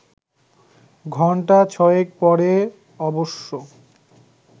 ঘন্টা ছয়েক পরে অবশ্য